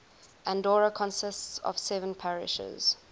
andorra consists of seven parishes